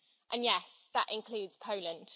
And yes that includes Poland.